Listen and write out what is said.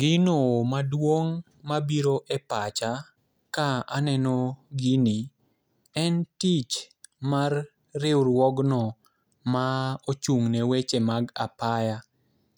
Gino maduong' mabiro e pacha ka aneno gini en tich mar riwruogno ma ochung' ne weche mag apaya